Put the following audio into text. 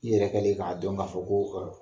I yɛrɛ kɛlen k'a dɔn k'a fɔ ko